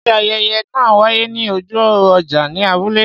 Ṣé ayẹyẹ náà wáyé ní ojú ọjà ní abúlé?